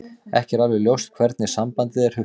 Ekki er alveg ljóst hvernig sambandið er hugsað.